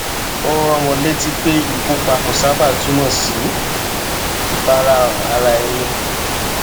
ó rán wọn létí pé ìkópa kò sábà túmọ sí ìfarahàn ara ẹni